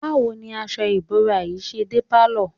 Báwo ni aṣọ ìbora yìí ṣe dé pálọ̀?